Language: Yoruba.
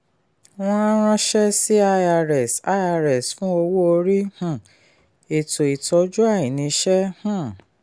wọ́n á ránṣẹ́ sí irs irs fún owó orí um ètò ìtọ́jú àìníṣẹ́. um